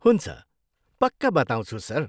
हुन्छ, पक्का बताउँछु, सर।